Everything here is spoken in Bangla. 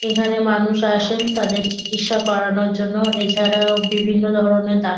এখানে মানুষ আসেন তাদের চিকিৎসা করানোর জন্য এছাড়াও বিভিন্ন ধরণের ডাক্ত --